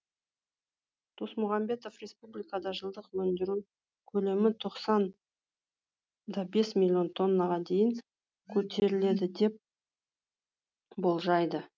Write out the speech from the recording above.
досмұхамбетов республикада жылдық өндіру көлемі тоқсанда бес миллион тоннаға дейін көтеріледі деп болжайды